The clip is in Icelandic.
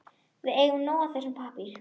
Við eigum nóg af þessum pappír.